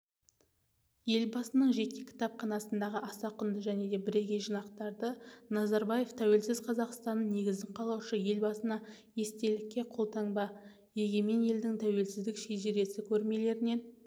елбасының жеке кітапханасындағы аса құнды және бірегей жинақтарды назарбаев тәуелсіз қазақстанның негізін қалаушы елбасына естелікке қолтаңба егемен елдің тәуелсіздік шежіресі көрмелерінен